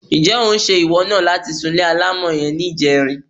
Ǹjé̩ ó ń s̩̣e ìwọ̩ náà láti súnle alámò̩ ye̩n ní ìje̩rin?